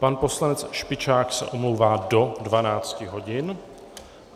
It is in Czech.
Pan poslanec Špičák se omlouvá do 12 hodin.